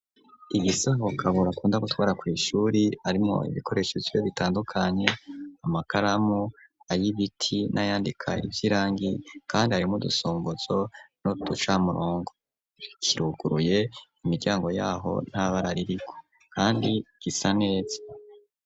Igisaho, Kabura akunda gutwara, kw'ishuri, harimwo ibikoresho vyiwe, bitandukanye; amakaramu, ay'ibiti, n'ayandika ivy'irangi; kandi harimwo udusongozo n'uducamurongo; kiruguruye, imiryango y'aho nta bara ririko, kandi gisa neza.